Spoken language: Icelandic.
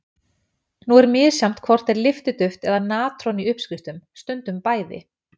Nú er misjafnt hvort er lyftiduft eða natron í uppskriftum stundum bæði.